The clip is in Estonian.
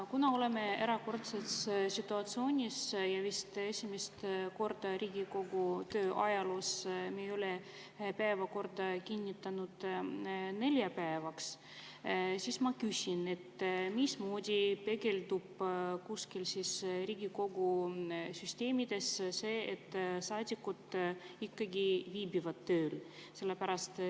Kuna oleme erakordses situatsioonis ja vist esimest korda Riigikogu töö ajaloos me ei ole kinnitanud päevakorda neljapäevaks, siis ma küsin, mismoodi peegeldub kuskil Riigikogu süsteemides see, et saadikud ikkagi viibivad tööl.